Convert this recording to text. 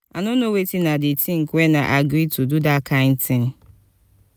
i no know wetin i dey think wen i agree do dat kin thing